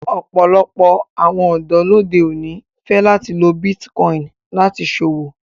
Ọpọlọpọ̀ awọn ọdọ lódè oní fẹ lati lọ Bitikòinì láti ṣọwọ.